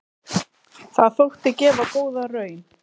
Það þótti gefa góða raun.